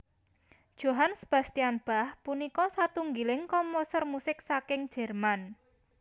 Johann Sebastian Bach punika satunggiling komposer musik saking Jerman